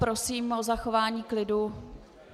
Prosím o zachování klidu.